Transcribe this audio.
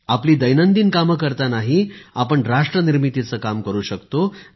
आपली दैनंदिन कामे करतांनाही आपण राष्ट्र निर्मितीचे काम करु शकतो